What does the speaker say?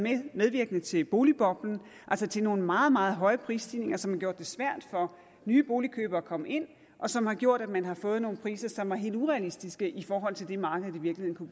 medvirkende til boligboblen altså til nogle meget meget store prisstigninger som har gjort det svært for nye boligkøbere at komme ind og som har gjort at man har fået nogle priser som var helt urealistiske i forhold til det markedet i virkeligheden